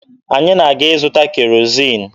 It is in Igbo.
Anyị na-aga ịzụta kerozin.